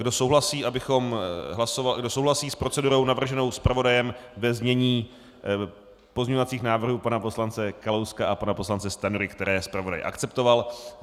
Kdo souhlasí s procedurou navrženou zpravodajem, ve znění pozměňovacích návrhů pana poslance Kalouska a pana poslance Stanjury, které zpravodaj akceptoval?